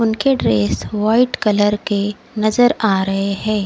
उनके dress white colour के नजर आ रहे हैं।